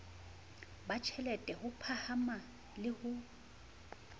batjhelete ho phahama le ho